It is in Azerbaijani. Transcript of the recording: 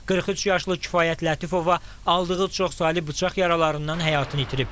43 yaşlı kifayət Lətifova aldığı çoxsaylı bıçaq yaralarından həyatını itirib.